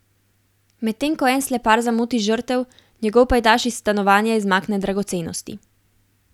Medtem ko en slepar zamoti žrtev, njegov pajdaš iz stanovanja izmakne dragocenosti.